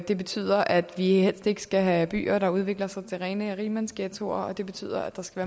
det betyder at vi helst ikke skal have byer der udvikler sig til rene rigmandsghettoer og det betyder at der skal